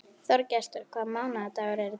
Þorgestur, hvaða mánaðardagur er í dag?